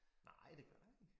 Nej det gør da ikke